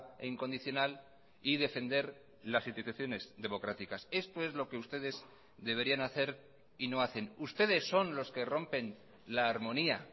e incondicional y defender las instituciones democráticas esto es lo que ustedes deberían hacer y no hacen ustedes son los que rompen la armonía